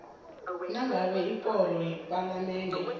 nangabe ikoro yepalamende